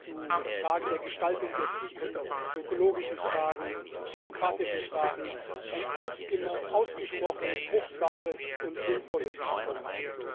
zu Fragen der Gestaltung der Zukunft, zu ökologischen Fragen, demokratischen Fragen ein ausgesprochen fruchtbares und sinnvolles Programm.